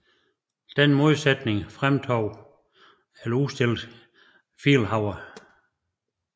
Denne modsætning fremdrog eller udstillede Vielhauer